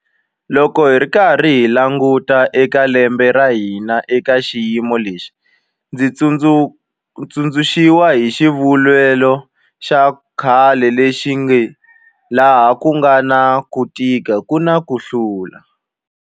Loko hi karhi hi languta eka lembe ra hina eka xiyimo lexi, ndzi tsundzu xiwa hi xivulavulelo xa khale lexi nge laha ku nga na ku tika ku na ku humelela.